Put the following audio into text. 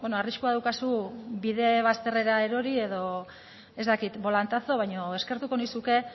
arriskua daukazu bide bazterrera erori edo ez dakit bolantazo baina eskertuko nizuke